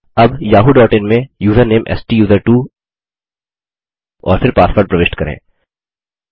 अब yahooइन में यूज़रनेम स्टूसर्टवो और फिर पासवर्ड प्रविष्ट करें